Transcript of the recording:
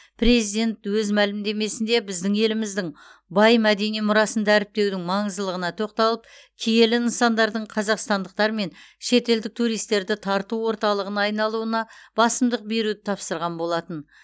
президент өз мәлімдемесінде біздің еліміздің бай мәдени мұрасын дәріптеудің маңыздылығына тоқталып киелі нысандардың қазақстандықтар мен шетелдік туристерді тарту орталығына айналуына басымдық беруді тапсырған болатын